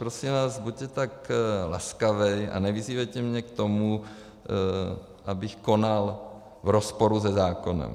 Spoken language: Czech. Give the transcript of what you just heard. Prosím vás, buďte tak laskavý a nevyzývejte mě k tomu, abych konal v rozporu se zákonem.